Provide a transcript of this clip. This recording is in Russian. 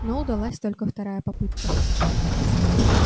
но удалась только вторая попытка